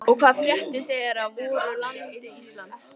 Og hvaða fréttir segið þér af voru landi Íslandi?